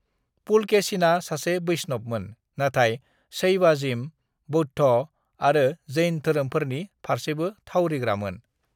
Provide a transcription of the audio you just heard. "पुलकेशिना सासे वैष्णवमोन, नाथाय शैवाजिम, बौद्ध आरो जैन धोरोमफोरनि फारसेबो थावरिग्रामोन।"